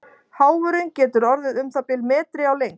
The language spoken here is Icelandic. Háfurinn getur orðið um það bil metri á lengd.